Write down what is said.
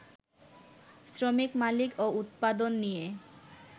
শ্রমিক মালিক ও উৎপাদন নিয়ে